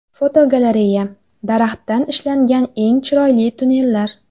Fotogalereya: Daraxtdan ishlangan eng chiroyli tunnellar.